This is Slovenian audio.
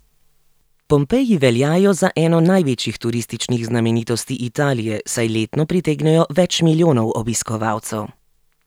Pompeji veljajo za eno največjih turističnih znamenitosti Italije, saj letno pritegnejo več milijonov obiskovalcev.